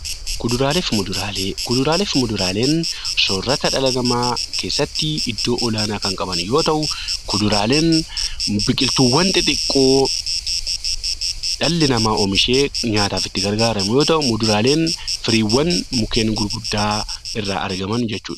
Kuduraalee fi muduraalee Kuduraalee fi muduraaleen soorata dhala namaa keessattii iddoo olaanaa kan qaban yoo ta'u, kuduraaleen biqiltuuwwan xixiqqoo dhalli namaa oomishee nyaataaf itti gargaaramu yoo ta'u, muduraaleen firiiwwan mukeen gurguddaa irraa argaman jechuu dha.